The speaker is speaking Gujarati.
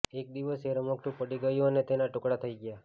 એક દિવસ એ રમકડું પડી ગયું અને તેના ટુકડા થઈ ગયા